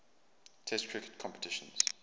test cricket competitions